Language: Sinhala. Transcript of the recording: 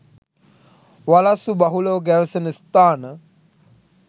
වලස්සු බහුලව ගැවසෙන ස්ථාන